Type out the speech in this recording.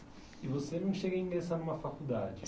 E você não chega a ingressar numa faculdade?